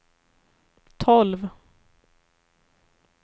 tolv